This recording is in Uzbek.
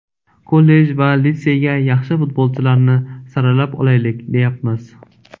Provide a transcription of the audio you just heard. Kollej va litseyga yaxshi futbolchilarni saralab olaylik deyapmiz.